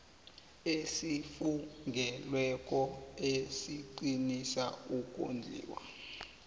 esifungelweko esiqinisa ukondliwa